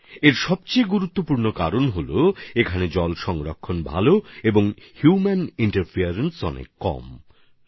এর সবচেয়ে গুরুত্বপূর্ণ কারণ হচ্ছে এখানে ভালো জল সংরক্ষণের পাশাপাশি এখানে হিউম্যান ইন্টারফেস বা মানুষের হস্তক্ষেপ অনেক কম